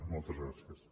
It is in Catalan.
moltes gràcies